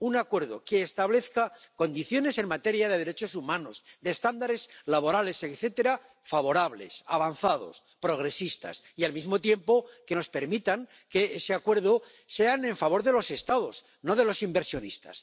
un acuerdo que establezca condiciones en materia de derechos humanos, de estándares laborales, etcétera, favorables, avanzados, progresistas y al mismo tiempo que nos permitan que ese acuerdo sea en favor de los Estados, no de los inversionistas.